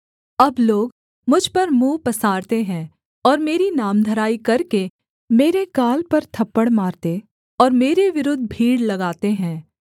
अब लोग मुझ पर मुँह पसारते हैं और मेरी नामधराई करके मेरे गाल पर थप्पड़ मारते और मेरे विरुद्ध भीड़ लगाते हैं